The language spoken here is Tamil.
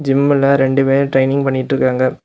ஜிம்முல ரெண்டு பேர் ட்ரைனிங் பண்ணிட்டு இருக்காங்க.